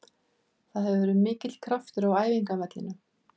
Það hefur verið mikill kraftur á æfingavellinum.